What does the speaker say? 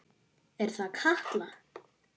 Er það Katla?